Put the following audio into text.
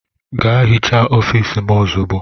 Gaa hichaa ofiisi m ozugbo!